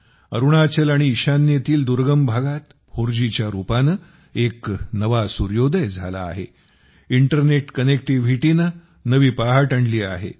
अरुणाचल आणि ईशान्येतील दुर्गम भागात 4G च्या रूपाने एक नवा सूर्योदय झाला आहे इंटरनेट कनेक्टिव्हिटीने नवी पहाट आणली आहे